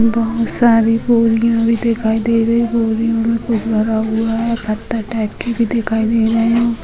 बहुत सारी बोरियां दिखाई दे रही है बोरियो में कुछ भरा हुआ है पत्थर टाइप की भी दिखाई दे रही है।